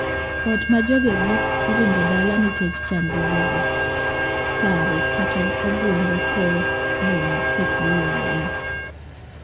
Ot ma jogegi oringo dala nikech chandruoge paro kata obuongo thoro dong' kokuyo ahinya.